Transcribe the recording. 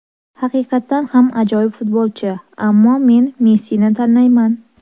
Haqiqatan ham ajoyib futbolchi, ammo men Messini tanlayman.